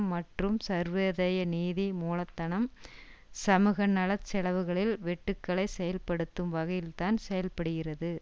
மற்றும் சர்வதேய நிதி மூலதனம் சமூகநல செலவுகளில் வெட்டுக்களை செயல்படுத்தும் வகையில்தான் செயல்படுகிறது